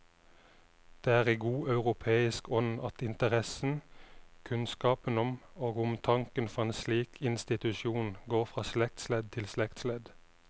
Det er i god europeisk ånd at interessen, kunnskapen om og omtanken for en slik institusjon går fra slektsledd til slektsledd.